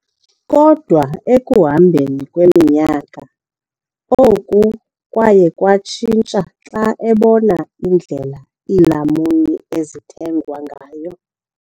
Kodwa ekuhambeni kweminyaka, oku kwaye kwatshintsha xa ebona indlela iilamuni ezithengwa ngayo.